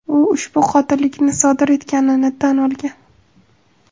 U ushbu qotillikni sodir etganini tan olgan.